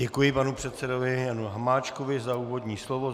Děkuji panu předsedovi Janu Hamáčkovi za úvodní slovo.